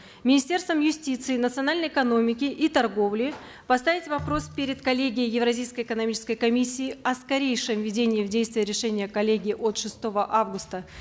министерствам юстиции национальной экономики и торговли поставить вопрос перед коллегией евразийской экономической комиссии о скорейшем введении в действие решения коллегии от шестого августа